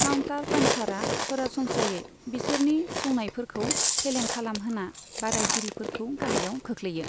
Counter पन्चारा सरासनस्रायै बिसोरनि सौनायफोरखौ फेलें खालामहोना बादायगिरिफोरखौ गाहायाव खोख्लैयो।